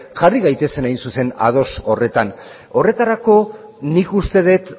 jarri gaitezen hain zuzen ados horretan horretarako nik uste dut